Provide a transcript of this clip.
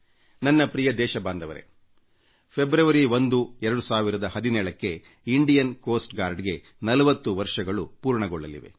ನನ್ನ ಪ್ರಿಯ ದೇಶವಾಸಿಗಳೇ ಫೆಬ್ರವರಿ 1 2017 ಕ್ಕೆ ಭಾರತೀಯ ಕರಾವಳಿ ಕಾವಲು ಪಡೆಕೋಸ್ಟ್ ಗಾರ್ಡ್ಗೆ 4೦ ವರ್ಷಗಳು ತುಂಬಲಿವೆ